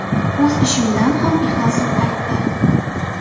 O‘z ishimdan ham ixlosim qaytdi.